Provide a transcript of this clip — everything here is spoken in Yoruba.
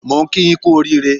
Mo ń kí yín kú oríire